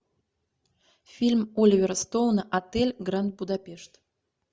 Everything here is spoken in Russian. фильм оливера стоуна отель гранд будапешт